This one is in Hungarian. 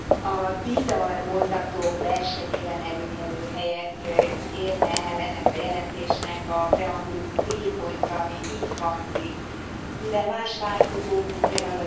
A bizarr mondatok versenyében előkelő helyet érne el ennek a jelentésnek a preambulum t pontja, ami így hangzik Mivel más változók, mint pl.